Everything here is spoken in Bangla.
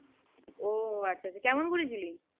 ও আচ্ছা আচ্ছা কেমন ঘুরেছিলি?